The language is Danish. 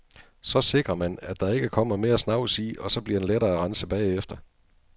Så sikrer man, at der ikke kommer mere snavs i og så bliver den lettere at rense bagefter.